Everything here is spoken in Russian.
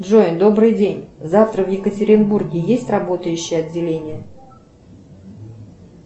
джой добрый день завтра в екатеринбурге есть работающие отделения